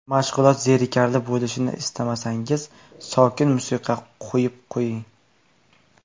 Mashg‘ulot zerikarli bo‘lishini istamasangiz, sokin musiqa qo‘yib qo‘ying.